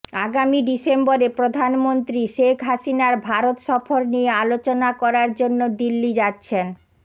আগামী ডিসেম্বরে প্রধানমন্ত্রী শেখ হাসিনার ভারত সফর নিয়ে আলোচনা করার জন্য দিল্লি যাচ্ছেন